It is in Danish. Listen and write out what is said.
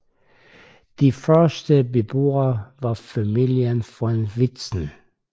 De første beboere var familien von Vitzen